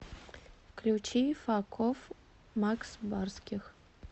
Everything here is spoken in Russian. включи фак оф макс барских